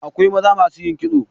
Akwai maza masu yin kitso.